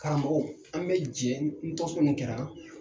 Karamɔgɔw an be jɛ ni tɔnsigi nunnu kɛra